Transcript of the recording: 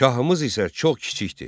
Şahımız isə çox kiçikdir.